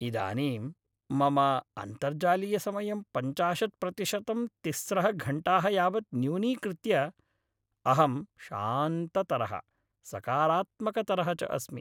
इदानीं मम अन्तर्जालीयसमयं पञ्चाशत् प्रतिशतं तिस्रः घण्टाः यावत् न्यूनीकृत्य अहं शान्ततरः, सकारात्मकतरः च अस्मि।